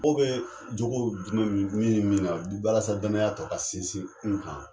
joko jumɛ be min ni min na walasa danaya tɔ ka sinsin un kan.